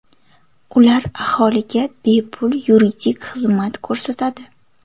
Ular aholiga bepul yuridik xizmat ko‘rsatadi.